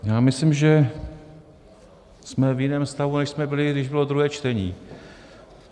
Já myslím, že jsme v jiném stavu, než jsme byli, když bylo druhé čtení.